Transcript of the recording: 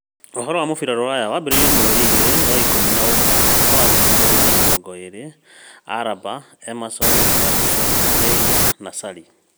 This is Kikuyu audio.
Ũhoro wa mũbira rũraya mwambĩrĩrio mweri igĩrĩ wa-ikũmi na ũmwe mwaka wa ngiri igĩrĩ na mĩrongo ĩĩrĩ: Alaba, Emerson, Gattuso, Neymar, Sarri